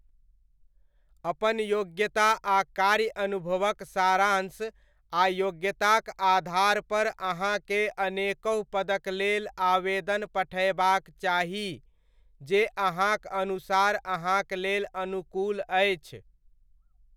अपन योग्यता आ कार्य अनुभवक सारांश आ योग्यताक आधारपर अहाँकेँ अनेकहु पदक लेल आवेदन पठयबाक चाही, जे अहाँक अनुसार अहाँक लेल अनुकूल अछि।